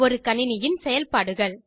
ஒரு கணினியின் செயல்பாடுகள்